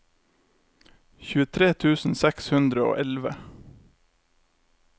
tjuetre tusen seks hundre og elleve